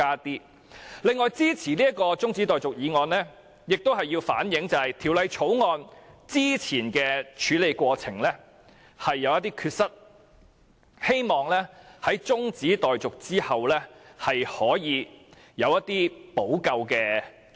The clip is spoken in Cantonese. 此外，我支持中止待續議案，藉此反映《條例草案》早前的處理過程有缺失，希望在中止待續後可以有措施補救。